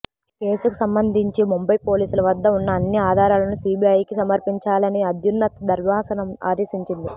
కేసుకు సంబంధించి ముంబై పోలీసుల వద్ద ఉన్న అన్ని ఆధారాలను సీబీఐకి సమర్పించాలని అత్యున్నత ధర్మాసనం ఆదేశించింది